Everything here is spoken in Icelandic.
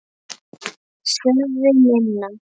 Sölvi: Minna?